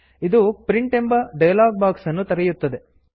ಇದು print print ಎಂಬ dialogue box ಅನ್ನು ತೆರೆಯುತ್ತದೆ